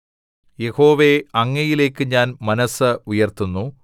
യഹോവേ അങ്ങയിലേക്ക് ഞാൻ മനസ്സ് ഉയർത്തുന്നു